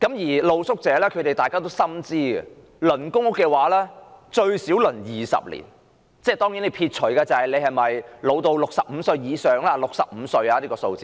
而露宿者亦心知肚明，輪候公屋需時至少20年，當然，須撇除申請人是否65歲以上及是否傷殘等因素。